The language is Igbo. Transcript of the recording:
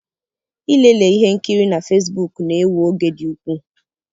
Ilele ihe nkiri na Fesbuku na-ewe oge dị ukwuu.